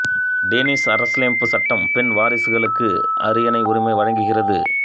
Danish அரசியலமைப்பு சட்டம் பெண் வாரிசுகளுக்கு அரியணை உரிமை வழங்குகிறது